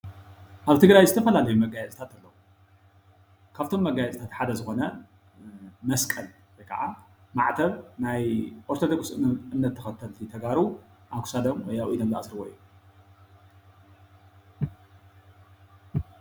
ኣብ ትግራይ ዝተፈላለዩ መጋየፅታትኣለዉ፡፡ ካብቶም መጋየፅታት ሓደ ዝኮነ መስቀል ወይ ከዓ ማዕተብ ናይ ኦርቶደኩስ እምነት ተከተልቲ ተጋሩ ኣብ ክሳዶም ወይ ኣብ ኢዶም ዝኣስርዎ እዩ፡፡